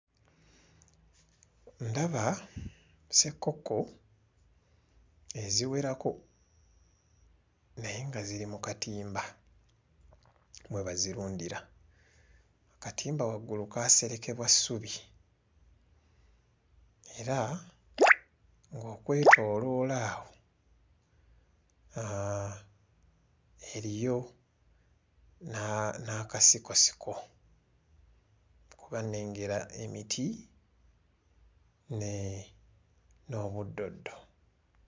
Ndaba ssekkokko eziwerako naye nga ziri mu katimba mwe bazirundira katimba waggulu kaaserekebwa ssubi era ng'okwetooloola awo aaa eriyo n'aa n'akasikosiko kuba nnengera emiti nee n'obuddoddo.